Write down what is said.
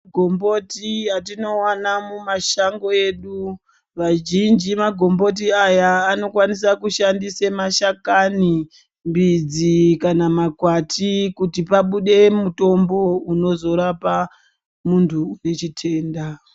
Gomboti atinowana mumashango edu vajinji magomboti aya anokwanisa kushandise mashakani mbidzi kana makwati kuti pabude mutombo unozorapa muntu une chitenda.